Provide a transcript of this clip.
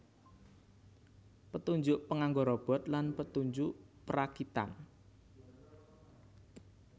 Petunjuk panganggo Robot lan panunjuk perakitan